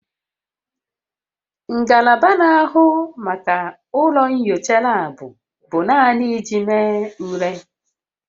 Ngalaba na-ahụ maka ụlọ nyocha laabụ bụ naanị iji mee ule